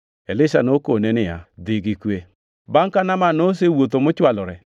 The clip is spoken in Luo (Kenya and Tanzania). Elisha nokone niya, “Dhi gi kwe.” Bangʼ ka Naaman nosewuotho mochwalore,